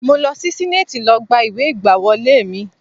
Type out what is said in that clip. Mo lọ sí senate lọ gba ìwé ìgbàwọlé mi.